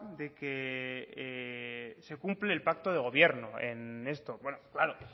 de que se cumple el pacto de gobierno en esto claro